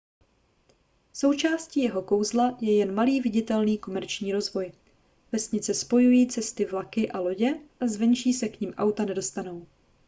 součástí jeho kouzla je jen malý viditelný komerční rozvoj vesnice spojují cesty vlaky a lodě a zvenčí se k nim auta nedostanou